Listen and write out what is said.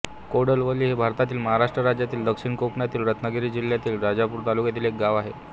कोडवली हे भारतातील महाराष्ट्र राज्यातील दक्षिण कोकणातील रत्नागिरी जिल्ह्यातील राजापूर तालुक्यातील एक गाव आहे